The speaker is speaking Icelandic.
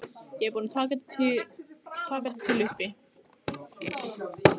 Ég er búin að taka þetta til uppi.